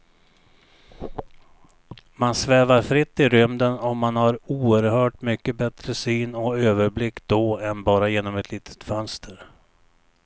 Man svävar fritt i rymden och man har oerhört mycket bättre syn och överblick då än bara genom ett litet fönster.